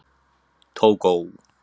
Tógó